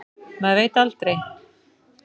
Maður veit aldrei.